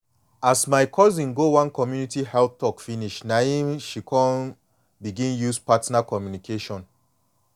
as my cousin go one community health talk finish na em she come begin use partner communication